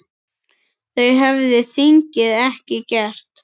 Það hefði þingið ekki gert.